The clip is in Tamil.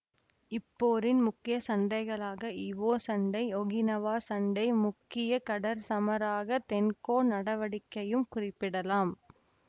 இப்போரின் முக்கிய சண்டைகளாக இவோ சண்டை ஒகினவா சண்டை முக்கிய கடற் சமராக தென்கோ நடவடிக்கையையும் குறிப்பிடலாம்